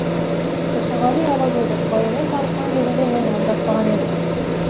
тұрсынғали алагөзов баянмен танысқан кезімде мен ажыраспаған едім